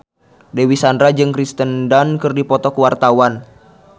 Dewi Sandra jeung Kirsten Dunst keur dipoto ku wartawan